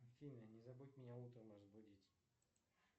афина не забудь меня утром разбудить